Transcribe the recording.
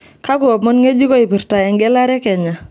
kaakwa omon ngejuko oipirta egelare ekenya